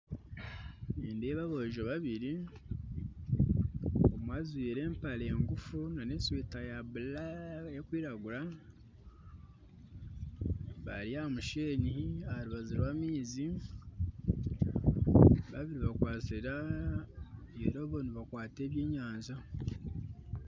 Nindeeba aboojo babiri omwe ajwaire empare ngufu n'eshweta ya bulaka bari ahamusheenyi aharubaju rw'amaizi babiri bakwatsire irobo nibakwata eby'enyanja